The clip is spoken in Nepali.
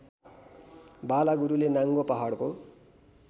बालागुरूले नाङ्गो पहाडको